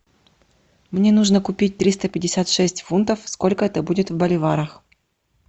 мне нужно купить триста пятьдесят шесть фунтов сколько это будет в боливарах